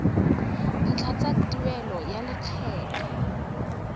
ntlha tsa tuelo ya lekgetho